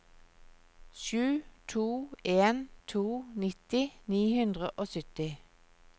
sju to en to nitti ni hundre og sytti